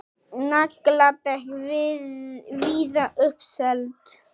Nagladekk víða uppseld